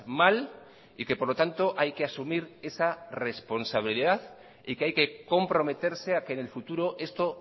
mal y que por lo tanto hay que asumir esa responsabilidad y que hay que comprometerse a que en el futuro esto